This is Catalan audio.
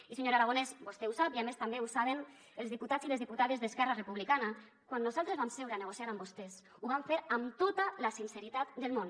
i senyor aragonès vostè ho sap i a més també ho saben els diputats i les diputades d’esquerra republicana quan nosaltres vam seure a negociar amb vostès ho vam fer amb tota la sinceritat del món